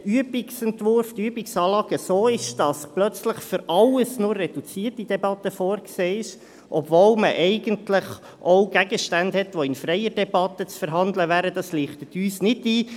Dass die Übungsanlage hier plötzlich für alles nur eine reduzierte Debatte vorsieht, obwohl man eigentlich auch Gegenstände hat, die in freier Debatte zu verhandeln wären, leuchtet uns nicht ein.